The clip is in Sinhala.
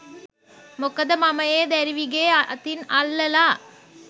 මොකද මම ඒ දැරිවිගේ අතින් අල්ලලා